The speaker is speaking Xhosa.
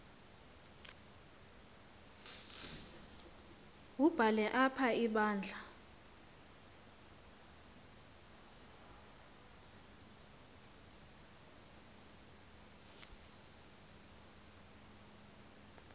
wubhale apha ibandla